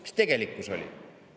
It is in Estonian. Mis tegelikkus oli?